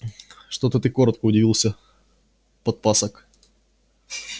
что ты коротко удивился подпасок